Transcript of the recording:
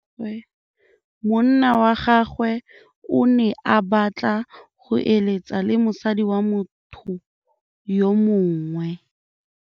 Monna wa gagwe o ne a batla go êlêtsa le mosadi wa motho yo mongwe.